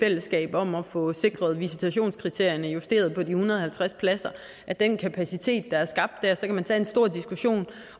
fællesskab om at få sikret at visitationskriterierne justeres i forhold til de en hundrede og halvtreds pladser af den kapacitet der er skabt der så kan man tage en stor diskussion